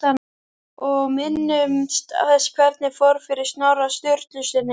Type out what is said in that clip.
Og minnumst þess hvernig fór fyrir Snorra Sturlusyni!